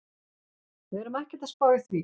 Við erum ekkert að spá í því.